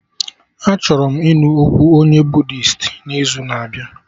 Achọrọ m ịnụ okwu onye Buddisti n'izu na abịa